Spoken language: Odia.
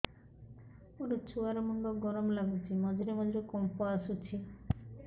ମୋ ଛୁଆ ର ମୁଣ୍ଡ ଗରମ ଲାଗୁଚି ମଝିରେ ମଝିରେ କମ୍ପ ଆସୁଛି